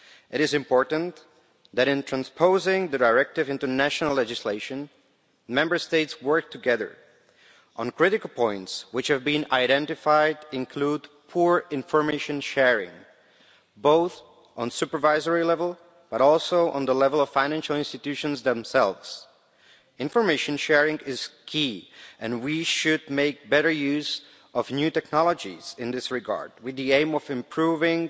It is important that, in transposing the directive into national legislation, Member States work together on critical points which have been identified, including poor information sharing at both supervisory level and the level of financial institutions themselves. Information sharing is key and we should make better use of new technologies in this regard, with the aim of improving